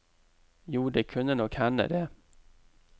Jo, det kunne nok hende det.